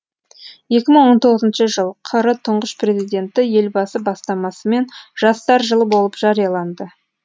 екі мың тоғызыншы жыл қр тұңғыш президенті елбасы бастамасымен жастар жылы болып жарияланды